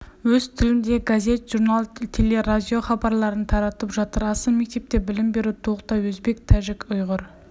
өз тілінде газет-журнал телерадио хабарларын таратып жатыр аса мектепте білім беру толықтай өзбек тәжік ұйғыр